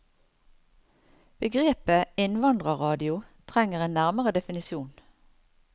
Begrepet innvandrerradio trenger en nærmere definisjon.